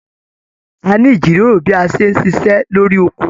A ní ijíròrò bí a ṣe n ṣiṣẹ lórí oko.